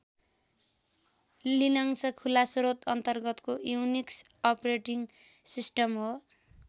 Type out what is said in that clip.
Linux खुला श्रोत अन्तर्गतको युनिक्स अपरेटिङ सिस्टम हो।